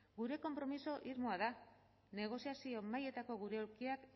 gure konpromiso irmoa da negoziazio mahaietako gure aulkiak